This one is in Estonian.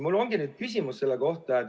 Mul ongi küsimus selle kohta.